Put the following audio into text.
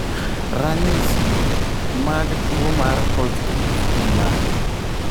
Ranyisi mag tuwo mar Holzgreve gin mage?